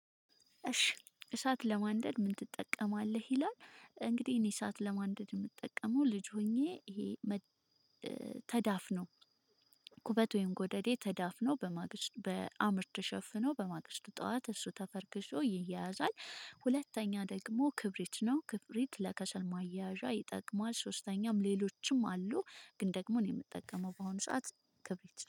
እሺ እሳት ለማንደድ ምን ትጠቀማለህ ይላል? እንግዲህ እኔ እሳት ለማንደድ የምጠቀመው ልጅ ሆኜ ይሄ ተዳፍኖ ቁበት ወይም ጎደዴ ተዳፍኖ በማግስት በአምር ተሸፍኖ በማግስቱ ጠዋት እሱ ተፈርክሾ ይያያዛል። ሁለተኛ ደግሞ ክብሪት ነው ክብሪት ለከሰል ማያዣ ይጠቅማል። ሶስተኛም ሌሎችም አሉ። ግን ደግሞ እኔ የምጠቀመው በሆነ ሰዓት ክብሪት ነው